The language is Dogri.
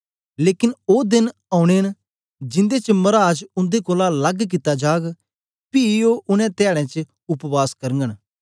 लेकन ओ देन औने न जिन्दे च मराज उन्दे कोलां लग कित्ता जाग पी ओ उनै धयाडें उपवास करगन